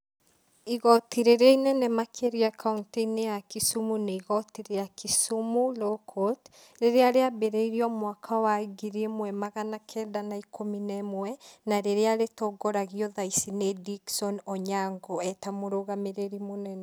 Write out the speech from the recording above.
Igoti rĩrĩa inene makĩria kaũntĩ-inĩ ya Kisumu nĩ igoti rĩa Kisumu Law Court rĩrĩa rĩambĩrĩirio mwaka wa ngiri ĩmwe magana kenda na ikũmi na ĩmwe, na rĩrĩa rĩtongoragio thaici nĩ Dickson Onyango eta mũrũgamĩrĩri mũnene.